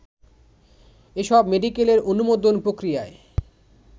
এসব মেডিকেলের অনুমোদন প্রক্রিয়ায়